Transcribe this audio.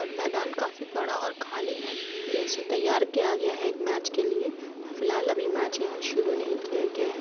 और मैदान काफी बड़ा और खाली है। ये इसे तैयार किया गया है एक मैच के लिए फिलहाल अभी मैच यहाँ शुरू नहीं किया गया है।